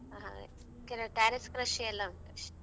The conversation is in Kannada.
ಹ್ಮ್ ಕೆಲವ್ terrace ಕೃಷಿಯೆಲ್ಲಾ ಉಂಟು ಅಷ್ಟೇ.